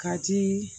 Ka di